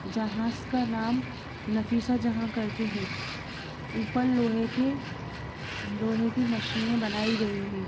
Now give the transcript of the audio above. जहाज का नाम नफीशा जहाँ करके हे ऊपर लोहे के लोहे के मशीनें बनाई गई है।